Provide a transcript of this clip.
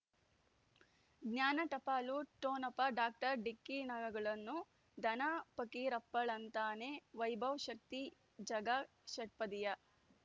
ಜ್ಞಾನ ಟಪಾಲು ಠೊಣಪ ಡಾಕ್ಟರ್ ಢಿಕ್ಕಿ ಣಗಳನು ಧನ ಫಕೀರಪ್ಪ ಳಂತಾನೆ ವೈಭವ್ ಶಕ್ತಿ ಝಗಾ ಷಟ್ಪದಿಯ